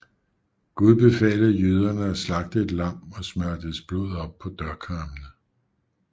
Gud befalede jøderne at slagte et lam og smøre dets blod op på dørkarmene